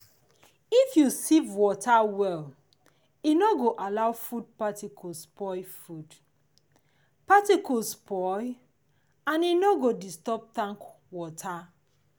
if you sieve water well e no go allow food particles spoil food particles spoil and e no go disturb tank water